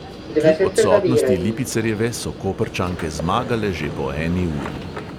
Kljub odsotnosti lipicerjeve so koprčanke zmagale že po eni uri.